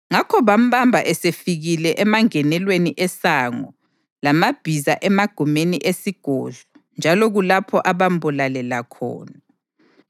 Ngakho bambamba esefikile emangenelweni eSango laMabhiza emagumeni esigodlo, njalo kulapho abambulalela khona.